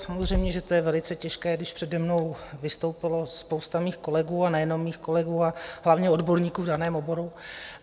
Samozřejmě že to je velice těžké, když přede mnou vystoupilo spousta mých kolegů, a nejenom mých kolegů, ale hlavně odborníků v daném oboru.